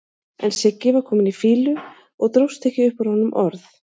En Siggi var kominn í fýlu og dróst ekki upp úr honum orð.